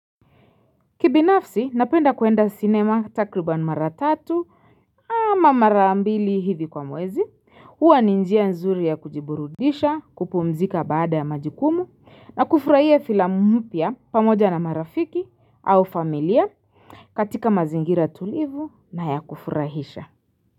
Kibinafsi, napenda kuenda cinema takriban mara tatu ama mara mbili hivi kwa mwezi huwa ni njia nzuri ya kujiburudisha, kupumzika baada ya majukumu na kufurahia filamu mpya pamoja na marafiki au familia katika mazingira tulivu na ya kufurahisha.